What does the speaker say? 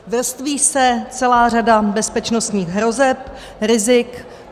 Vrství se celá řada bezpečnostních hrozeb, rizik.